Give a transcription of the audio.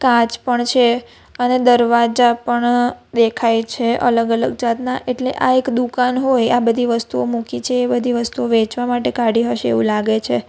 કાચ પણ છે અને દરવાજા પણ દેખાય છે અલગ અલગ જાતના એટલે આ એક દુકાન હોય આ બધી વસ્તુઓ મૂકી છે એ બધી વસ્તુ વેચવા માટે કાઢી હશે એવું લાગે છે.